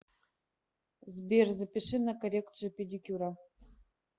сбер запиши на коррекцию педикюра